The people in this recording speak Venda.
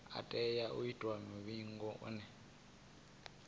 tea u itiwa muvhigo une